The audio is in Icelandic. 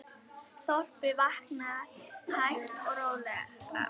Þorpið vaknar hægt og rólega.